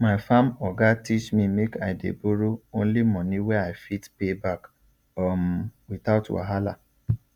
my farm oga teach me make i dey borrow only money wey i fit pay back um without wahala